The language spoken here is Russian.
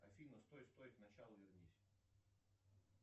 афина стой стой к началу вернись